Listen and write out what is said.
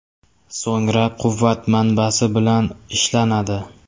So‘ngra quvvat manbasi bilan ishlanadi.